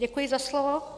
Děkuji za slovo.